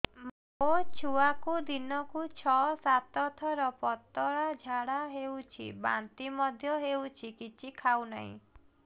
ମୋ ଛୁଆକୁ ଦିନକୁ ଛ ସାତ ଥର ପତଳା ଝାଡ଼ା ହେଉଛି ବାନ୍ତି ମଧ୍ୟ ହେଉଛି କିଛି ଖାଉ ନାହିଁ